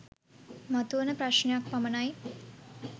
මතුවන ප්‍රශ්ණයක් පමණයි